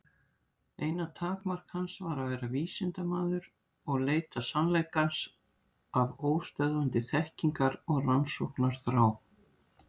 Eina takmark hans var að vera vísindamaður og leita sannleikans af óstöðvandi þekkingar- og rannsóknarþrá.